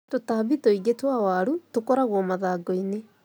Tũtambi tũingi twa waru tũkoragwo mathangu-inĩ.